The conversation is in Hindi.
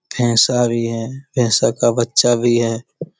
भैंसा भी है भैंसा का बच्चा भी है।